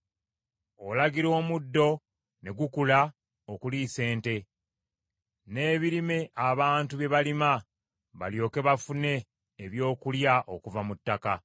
Olagira omuddo ne gukula okuliisa ente, n’ebirime abantu bye balima, balyoke bafune ebyokulya okuva mu ttaka.